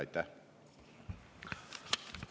Aitäh!